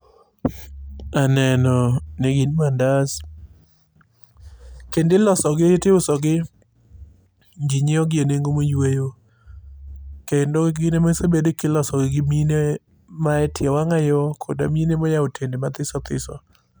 Aneno ni gin mandas. Kendo ilosogi, tiuso gi ji nyiewogi enengo moyweyo. Kendo gin emosebed kilosogi gi mine maetie wang'ayo kod mine moyawo otende mathiso thiso.